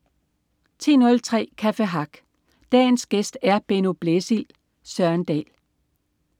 10.03 Café Hack. Dagens gæst er Benno Blæsild. Søren Dahl